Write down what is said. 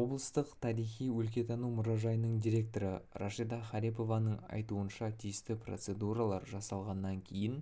облыстық тарихи-өлкетану мұражайының директоры рашида харипованың айтуынша тиісті процедуралар жасалғаннан кейін